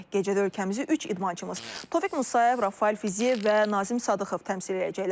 Gecədə ölkəmizi üç idmançımız Tofiq Musayev, Rafael Fiziyev və Nazim Sadıqov təmsil edəcəklər.